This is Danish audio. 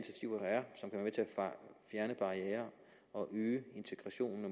fjerne barrierer og øge integrationen